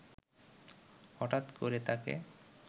হটাৎ করে তাকে